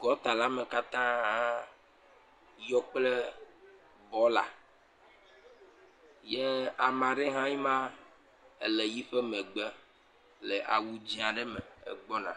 Gɔɔɔtala me katãããa yɔ kple bɔɔla. Yɛ ame aɖe hãe ma le yiƒe megbe le awu dzẽ ae me, egbɔna.